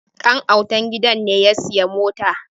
Dan'autan gidan ne ya sayi mota